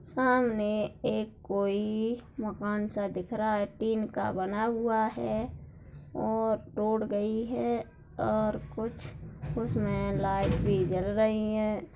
सामने एक कोई मकान सा दिख रहा है टीन का बना हुआ है और रोड़ गई है और कुछ उसमें लाइट भी जल रही है।